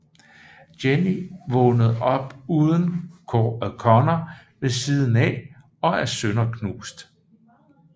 Jenny vågner op uden Connor ved siden af og er sønderknust